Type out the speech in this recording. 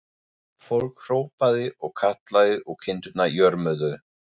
Fólkið hrópaði og kallaði og kindurnar jörmuðu.